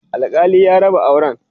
alkali ya raba auran